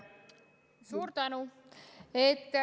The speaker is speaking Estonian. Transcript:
Suur tänu!